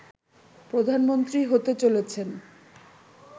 প্রধানমন্ত্রী হতে চলেছেন